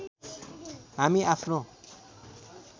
हामी आफ्नो